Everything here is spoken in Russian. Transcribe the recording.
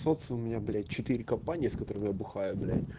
социум у меня блять четыре компании с которыми я бухаю блядь